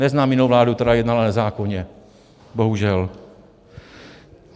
Neznám jinou vládu, která jednala nezákonně, bohužel.